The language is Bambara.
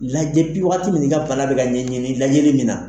Lajɛ waagati min i ka bana bɛ ka ɲɛɲini lajɛli ni na.